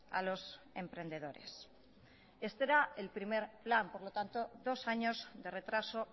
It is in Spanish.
a los emprendedores este era el primer plan por lo tanto dos años de retraso